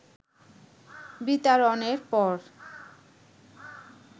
বিতাড়নের পর